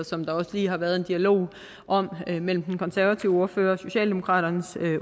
som der også lige har været en dialog om mellem den konservative ordfører og socialdemokraternes